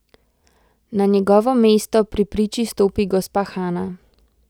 Na njegovo mesto pri priči stopi gospa Hana.